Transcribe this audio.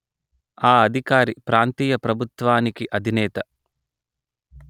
ఆ అధికారి ప్రాంతీయ ప్రభుత్వానికి అధినేత